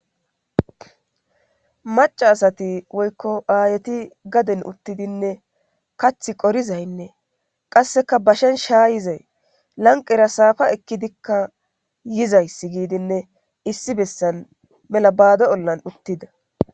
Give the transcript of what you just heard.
maca asati woykko aayeti gaden uttidinne kath qorizaynne qasseka bashen shaayizay lanqera saafa ekkidikka yizayss giidinne issi bessan mela baado ollan uttida